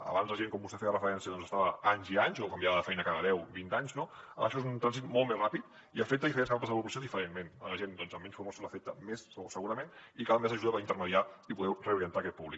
abans la gent com vostè hi feia referència doncs estava anys i anys o canviava de feina cada deu vint anys no ara això és un trànsit molt més ràpid i afecta diferents capes de la població diferentment la gent doncs amb menys formació l’afecta més segurament i cal més ajuda per intermediar i poder reorientar aquest públic